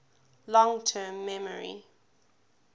long term memory